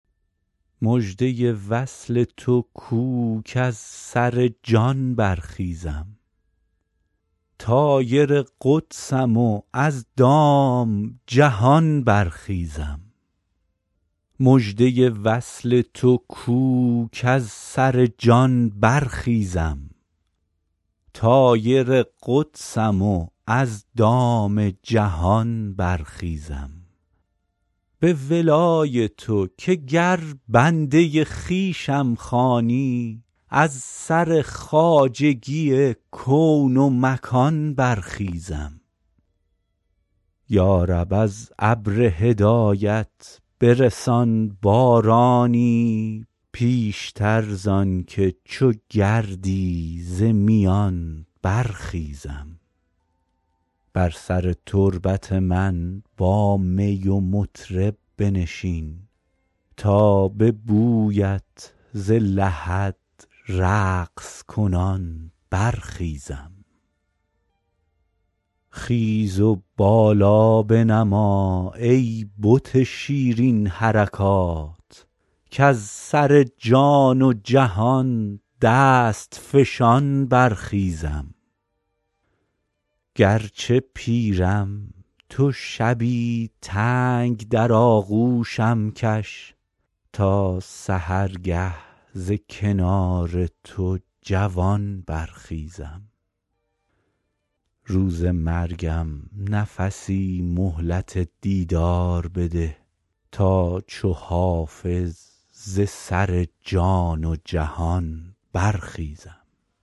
مژده وصل تو کو کز سر جان برخیزم طایر قدسم و از دام جهان برخیزم به ولای تو که گر بنده خویشم خوانی از سر خواجگی کون و مکان برخیزم یا رب از ابر هدایت برسان بارانی پیشتر زان که چو گردی ز میان برخیزم بر سر تربت من با می و مطرب بنشین تا به بویت ز لحد رقص کنان برخیزم خیز و بالا بنما ای بت شیرین حرکات کز سر جان و جهان دست فشان برخیزم گرچه پیرم تو شبی تنگ در آغوشم کش تا سحرگه ز کنار تو جوان برخیزم روز مرگم نفسی مهلت دیدار بده تا چو حافظ ز سر جان و جهان برخیزم